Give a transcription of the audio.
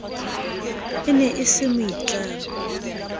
e ne e se moitlami